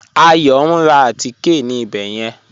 Ayọ̀ n rá àtíkẹ̀ ní ìbẹ̀ yẹn